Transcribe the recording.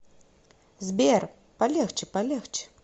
сбер полегче полегче